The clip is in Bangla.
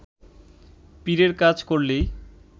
পীরের কাজ করলেই